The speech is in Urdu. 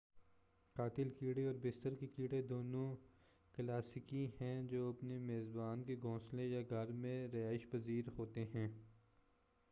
قاتل کیڑے اور بستر کے کیڑے دونوں کلاسیکی ہیں جو اپنے میزبان کے گھونسلے یا گھر میں رہائش پذیر ہوتے ہیں